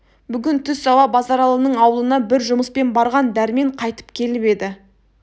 бүгін түс ауа базаралының аулына бір жұмыспен барған дәрмен қайтып келіп еді